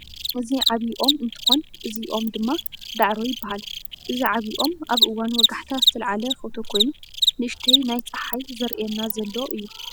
እዚ ዓብይ ኦም እንትኮን እዚ ኦም ድማ ዳዕሮ ይባሃል። እዚ ዓብይ ኦም ኣብ እዋን ወጋሕታ ዝተለዓለ ፎቶ ኮይኑ ንእሽተይ ናይ ፀሓይ ዘርእየና ዘሎ እዩ።